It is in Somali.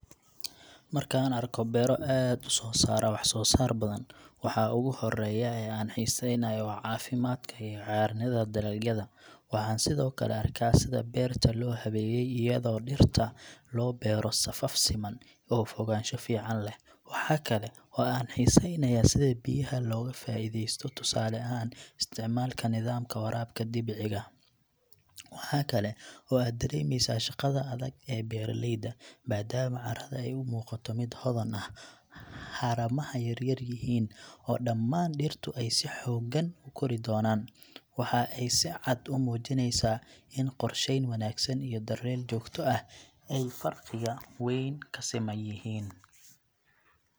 Marka aan arko beero aad u soo saara wax soo saar badan, waxa ugu horeeya ee aan xiiseynayo waa caafimaadka iyo cagaaranida dalagyada. Waxaan sidoo kale arkaa sida beerta loo habeeyay, iyadoo dhirta loo beero safaf siman oo fogaansho fiican leh. Waxa kale oo aan xiiseynayaa sida biyaha looga faa’iidaysto, tusaale ahaan, isticmaalka nidaamka waraabka dhibciga. Waxa kale oo aad dareemeysaa shaqada adag ee beeralayda, maadaama carrada ay u muuqato mid hodan ah, haramaha yar-yar yihiin, oo dhammaan dhirtu ay si xooggan u kori doonaan. Waxa ay si cad u muujineysaa in qorsheyn wanaagsan iyo daryeel joogto ah ay farqiga weyn siman yihiin.